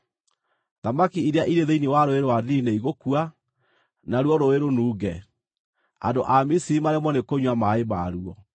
Thamaki iria irĩ thĩinĩ wa Rũũĩ rwa Nili nĩigũkua, naruo rũũĩ rũnunge; andũ a Misiri maremwo nĩ kũnyua maaĩ maruo.’ ”